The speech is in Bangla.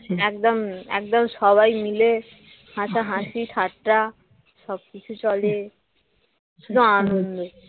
একদম একদমই সবাই মিলে হাসাহাসি ঠাট্টা সবকিছু চলে শুধু আনন্দ